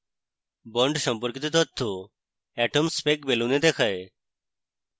bond সম্পর্কিত তথ্য atomspec balloon এ দেখায়